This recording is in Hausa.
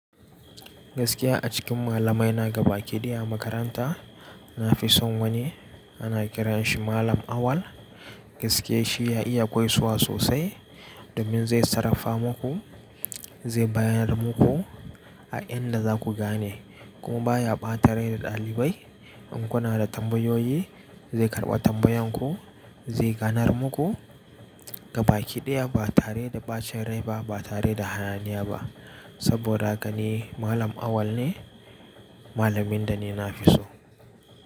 Gaskiya a cikin malamai na gaba kiɗi a makaranta, na fi son wani ana kiran shi malam Awal. Gaskiye shi ya iya koyaswa sosai domin zai sarrafa muku, zai bayyana muku a inda za ku gane kuma baya ɓatare da ɗalibai. In kuna da tambayoyi, zai karɓa tambayan ku, zai ganar muku. Gaba ki daya ba tare da ɓacin rai ba, ba tare da hananiya ba. Saboda gani malam Awal ne, malamin da ni na fi so.